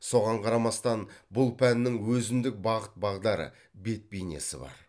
соған қарамастан бұл пәннің өзіндік бағыт бағдары бет бейнесі бар